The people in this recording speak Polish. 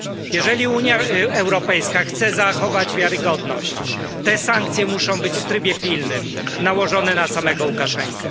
Jeżeli Unia Europejska chce zachować wiarygodność, te sankcje muszą być w trybie pilnym nałożone na samego Łukaszenkę.